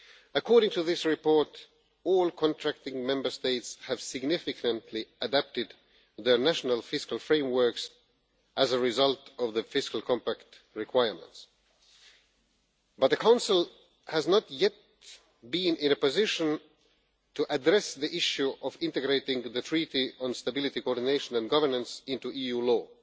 According to this report, all contracting Member States have significantly adapted their national fiscal frameworks as a result of the fiscal compact requirements, but the Council has not yet been in a position to address the issue of integrating the Treaty on Stability, Coordination and Governance into EU law.